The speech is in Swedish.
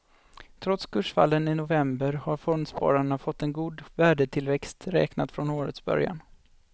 Trots kursfallen i november har fondspararna fått en god värdetillväxt räknat från årets början.